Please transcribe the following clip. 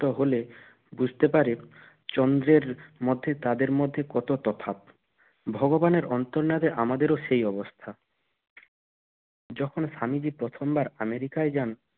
তাহলে বুঝতে পারে চন্দ্রের মধ্যে তাদের মধ্যে কত তফাৎ ভগবানের অন্তর্নাদে আমাদের ও সেই অবস্থা যখন প্রথমবার আমেরিকায় যান